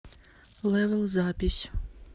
лэвэл запись